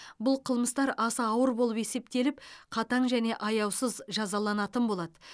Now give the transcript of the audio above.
бұл қылмыстар аса ауыр болып есептеліп қатаң және аяусыз жазаланатын болады